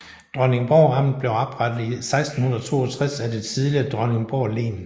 Dronningborg Amt blev oprettet i 1662 af det tidligere Dronningborg Len